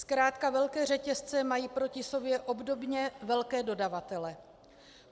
Zkrátka velké řetězce mají proti sobě obdobně velké dodavatele.